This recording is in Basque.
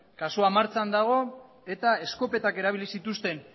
kasuan martxan dago eta eskopetak erabili zituzten